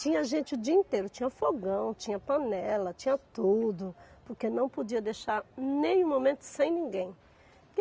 Tinha gente o dia inteiro, tinha fogão, tinha panela, tinha tudo, porque não podia deixar nenhum momento sem ninguém.